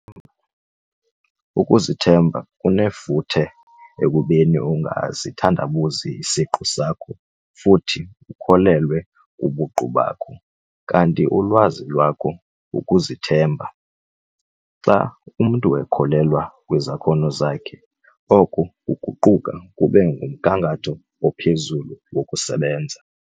Ukuzithemba kunefuthe ekubeni ungasithandabuzi isiqu sakho futhi ukholelwe kubuqu bakho kanti ulwazi lwakho ukuzithemba. Xa umntu ekholelwa kwizakhono zakhe, oko kuguquka kube ngumgangatho ophezulu wokusebenza.